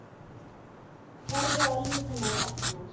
Horfi á líf hennar opnast.